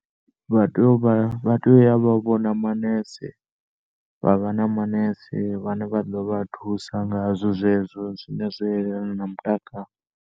Vha tea u vha, vha tea u ya vha vhona manese vha vha na manese vhane vha ḓo vha thusa ngazwo zwezwo zwino zwa elana na mutakalo.